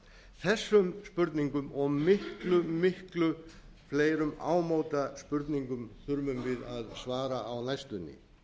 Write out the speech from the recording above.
þessum spurningum og miklu miklu fleirum ámóta spurningum þurfum við að svara á næstunni